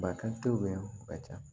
Bakan te yan o ka ca